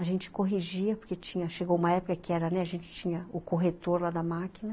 A gente corrigia, porque tinha, chegou uma época que a gente tinha o corretor lá da máquina.